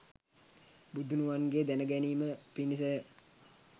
බුදුනුවන්ගේ දැන ගැනීම පිණිස ය.